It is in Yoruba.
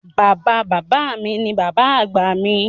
Baba baba mi ni baba agba mi.